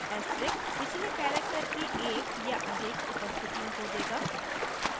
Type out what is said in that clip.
* asterisk पिछले character की एक या अधिक उपस्थितियों को देगा